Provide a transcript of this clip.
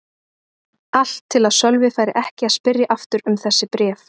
Allt til að Sölvi færi ekki að spyrja aftur um þessi bréf.